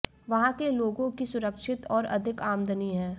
वहां के लोगों की सुरक्षित और अधिक आमदनी है